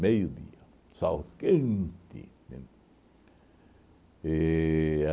Meio-dia, sol quente, entende? E